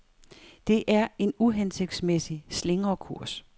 Det er en uhensigtsmæssig slingrekurs.